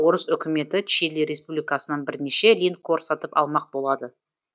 орыс үкіметі чили республикасынан бірнеше линкор сатып алмақ болады